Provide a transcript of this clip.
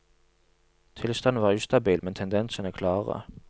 Tilstanden var ustabil, men tendensene klare.